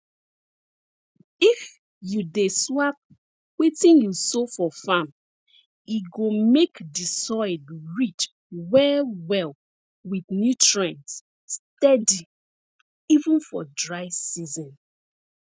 if you dey swap wetin you sow for farm e go make di soil rich well well with nutrients steady even for dry season